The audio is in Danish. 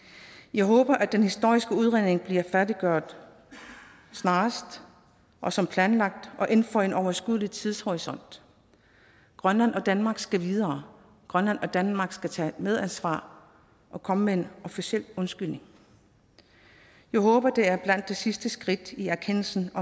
jeg håber at den historiske udredning bliver færdiggjort snarest og som planlagt og inden for en overskuelig tidshorisont grønland og danmark skal videre grønland og danmark skal tage medansvar og komme med en officiel undskyldning jeg håber at det er blandt de sidste skridt i erkendelsen af